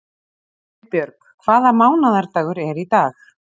Heiðbjörg, hvaða mánaðardagur er í dag?